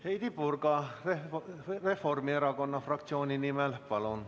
Heidy Purga Reformierakonna fraktsiooni nimel, palun!